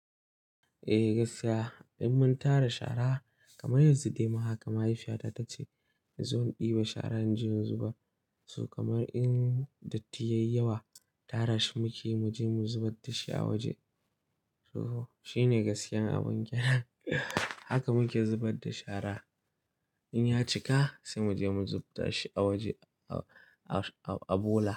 Eh gaskiya, in mun tara shara kamar yanzu dai ma haka mahaifiyata tace zo in ɗiba shara in je in zubar. Su kamar in datti yayi yawa tara shi muke muje mu zubar dashi a waje. To shine gaskiyar abun haka muke zubar da shara in ya cika sai muje mu zubda shi a waje a bola.